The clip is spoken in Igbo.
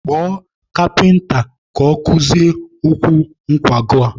Kpọọ kapịnta ka ọ kụzie ụkwụ nkwago!